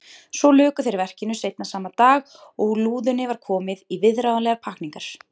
Svo luku þeir verkinu seinna sama dag og lúðunni var komið í viðráðanlegar pakkningar.